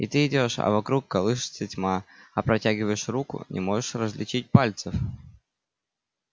и ты идёшь а вокруг колышется тьма а протягиваешь руку не можешь различить пальцев